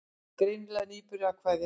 Greinilega nýbúin að kveðja.